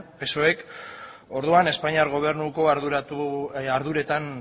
psoek orduan espainiar gobernuko arduretan